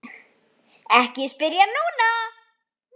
Ekki spyrja núna!